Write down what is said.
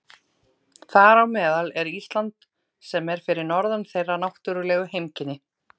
Þar á meðal er Ísland sem er fyrir norðan þeirra náttúrlegu heimkynni.